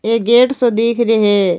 एक गेट सो दीख रे है।